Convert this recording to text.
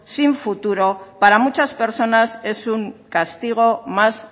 sin futuro para muchas personas es un castigo más